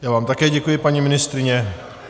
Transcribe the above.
Já vám také děkuji, paní ministryně.